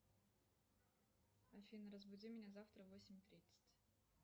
афина разбуди меня завтра в восемь тридцать